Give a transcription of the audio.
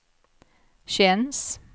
känns